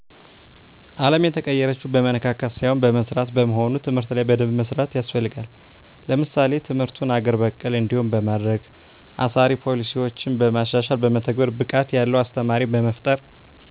አለም የተቀየረችው በመነካካት ሳይሆን በመስራት በመሆኑ ትምህርት ላይ በደንብ መስራት ያስፈልጋል። ለምሳሌ ትምርቱን አገር በቀል እንዲሆን በማድረግ፣ አሳሪ ፖሊሲዮችን በማሻሻልና በመተግበር፣ ብቃት ያለው አስተማሪ በመፍጠር